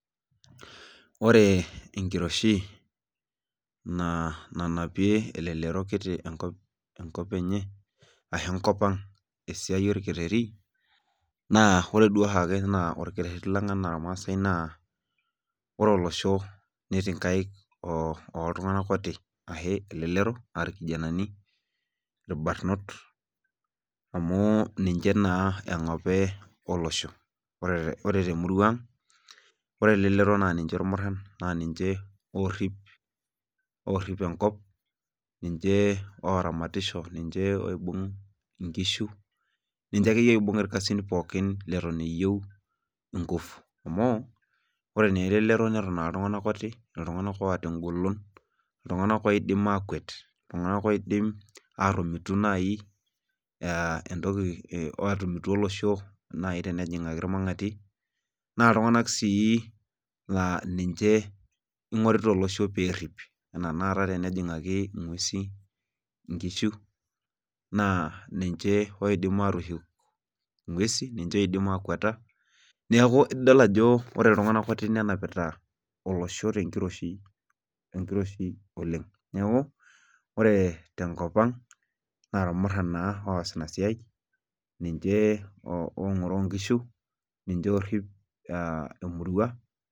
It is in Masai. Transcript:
Ore enkiroshi nanapie elelero kiti enkop enye ashu enkop ang tesiai olkereti. naa ore duo oshiake naa olkereti, lang anaa ilmaasae naa ore olosho, netii nkaik ooltunganak kuti, ashu elelero, aa irkinanani ilbarnot, amu, ninche naa engape olosho. oee, emurua ang' .ore elelero naa. ninche ilmuran ninche oorip, enkop .ninche ooramatisho. niche nkishu. ninche akeyie oibung ilkasin pookin, leton eyieu nkufu. amu ore naa elelero. neton iltunganak ooti, iltunganak oota egolon. iltunganak oidim aakwet. iltunganak oidim naaji aatomitu naai entoki olosho tenjingaki ilmangati. naa iltunganak oingorita olosho pee erip. pee ejingaki nkishu naa ninche oidim aatushuk inguesin niche oidim aakweta. neeku idol ajo ore iltunganak kuti nenapita olosho tenkiroshi oleng. neeku ore tenkop ang' naa ilmurana naa oosita Ina siai. enye.oo ngoroo nkishu .ninche oorip.